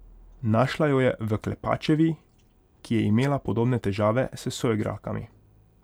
Našla jo je v Klepačevi, ki je imela podobne težave s soigralkami.